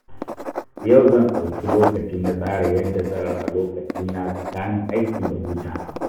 Yau, zan ɗauki lokaci na tsara yadda zan raba lokacina tsakanin aiki da hutawa.